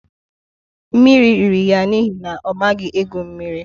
Mmiri riri ya n'ihi na ọ maghị egwu mmiri